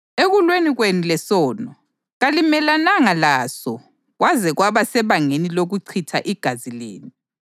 Ekulweni kwenu lesono, kalimelananga laso kwaze kwaba sebangeni lokuchitha igazi lenu.